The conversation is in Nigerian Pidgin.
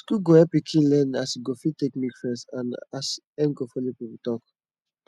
school go help pikin learn as e go fit take make friends and as em go follow people talk